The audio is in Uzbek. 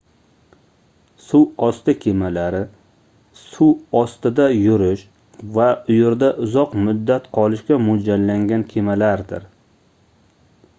suvosti kemalari suv ostida yurish va u yerda uzoq muddat qolishga moʻljallangan kemalardir